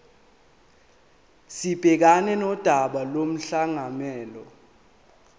sibhekane nodaba lomklomelo